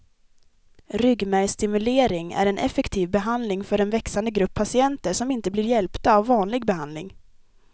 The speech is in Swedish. Ryggmärgsstimulering är en effektiv behandling för den växande grupp patienter som inte blir hjälpta av vanlig behandling.